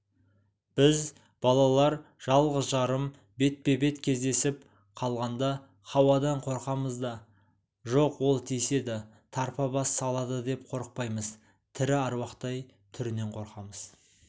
біз балалар жалғыз-жарым бетпе-бет кездесіп қалғанда хауадан қорқамыз да жоқ ол тиіседі тарпа бас салады деп қорықпаймыз тірі аруақтай түрінен қорқамыз